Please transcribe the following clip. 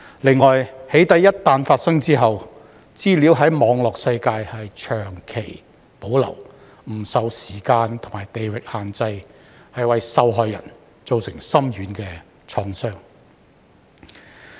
此外，"起底"一旦發生後，資料在網絡世界長期保留，不受時間或地域限制，為受害人造成深遠創傷。